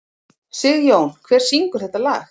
Sigjón, hver syngur þetta lag?